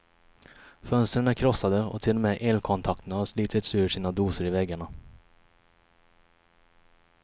Fönstren är krossade och till och med elkontakterna har slitits ur sina dosor i väggarna.